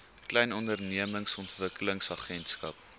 klein ondernemings ontwikkelingsagentskap